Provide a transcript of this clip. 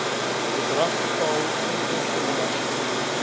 bedrag betaal inkomstebelasting